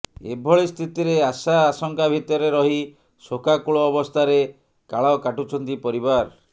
ଏଭଳି ସ୍ଥିତିରେ ଆଶା ଆଶଙ୍କା ଭିତରେ ରହି ଶୋକାକୂଳ ଅବସ୍ଥାରେ କାଳ କାଟୁଛନ୍ତି ପରିବାର